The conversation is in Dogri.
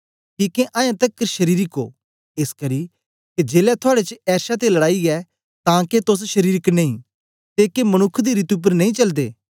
किके अयें तकर शरीरक ओ एसकरी के जेलै थुआड़े च एर्षा ते लड़ाई ऐ तां के तोस शरीरक नेई ते के मनुक्ख दी रीति उपर नेई चलदे